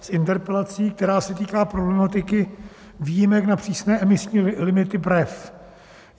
s interpelací, která se týká problematiky výjimek na přísné emisní limity BREF.